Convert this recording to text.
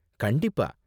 கண்டிப்பா.